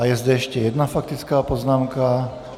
A je zde ještě jedna faktická poznámka.